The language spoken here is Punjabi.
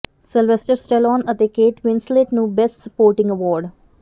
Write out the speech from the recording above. ਸੈਲਵੈਸਟਰ ਸਟੈਲੌਨ ਤੇ ਕੇਟ ਵਿੰਸਲੇਟ ਨੂੰ ਬੈਸਟ ਸਪੋਰਟਿੰਗ ਐਵਾਰਡ